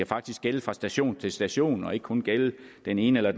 faktisk gælder fra station til station og ikke kun gælder den ene eller